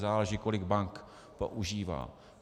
Záleží, kolik bank používá.